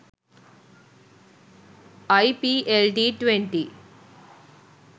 iplt20